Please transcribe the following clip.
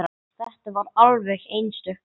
Þetta var alveg einstök stund.